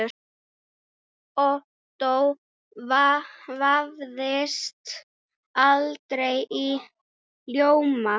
Ottó vafðist aldrei í ljóma.